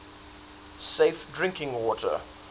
safe drinking water